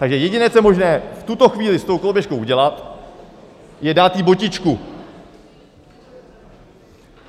Takže jediné, co je možné v tuto chvíli s tou koloběžkou udělat, je dát jí botičku.